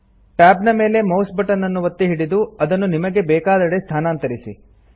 tab ನ ಮೇಲೆ mouse button ಅನ್ನು ಒತ್ತಿ ಹಿಡಿದು ಅದನ್ನು ನಿಮಗೆ ಬೇಕಾದೆಡೆ ಸ್ಥಾನಾಂತರಿಸಿ